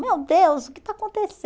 Meu Deus, o que está